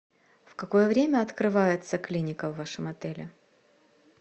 в какое время открывается клиника в вашем отеле